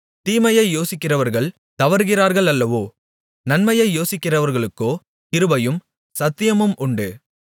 தீமையை யோசிக்கிறவர்கள் தவறுகிறார்களல்லவோ நன்மையை யோசிக்கிறவர்களுக்கோ கிருபையும் சத்தியமும் உண்டு